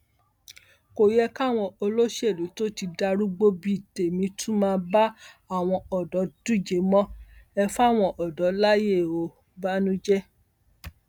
kò yẹ káwọn olóṣèlú tó ti darúgbó bíi tèmi tún máa bá àwọn ọdọ díje mọ ẹ fáwọn ọdọ láàyèòbànújẹ